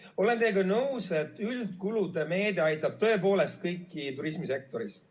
Ma olen teiega nõus, et üldkulude meede aitab tõepoolest kõiki turismisektoris.